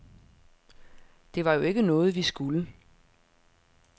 Det var jo ikke noget, vi skulle.